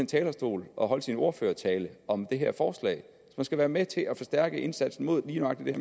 talerstol og holdt sin ordførertale om det her forslag som skal være med til at forstærke indsatsen mod lige nøjagtigt